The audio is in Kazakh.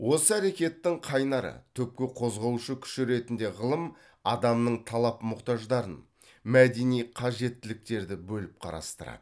осы әрекеттің қайнары түпкі қозғаушы күші ретінде ғылым адамның талап мұқтаждарын мәдени қажеттіліктерді бөліп қарастырады